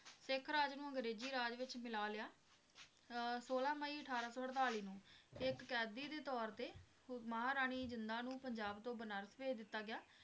ਸਿੱਖ ਰਾਜ ਨੂੰ ਅੰਗਰੇਜ਼ੀ ਰਾਜ ਵਿਚ ਮਿਲਾ ਲਿਆ ਅਹ ਛੋਲਾਂ ਮਈ ਅਠਾਰਾਂ ਸੌ ਅੜਤਾਲੀ ਨੂੰ ਇੱਕ ਕੈਦੀ ਦੇ ਤੌਰ ਤੇ ਉਹ ਮਹਾਰਾਣੀ ਜਿੰਦਾਂ ਨੂੰ ਪੰਜਾਬ ਤੋਂ ਬਨਾਰਸ ਭੇਜ ਦਿਤਾ ਗਿਆ।